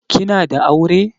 Kina da aure?